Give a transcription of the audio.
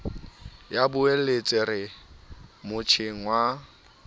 ya boeletsi re motjheng wa